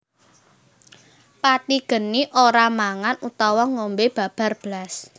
Patigeni ora mangan utawa ngombe babar blas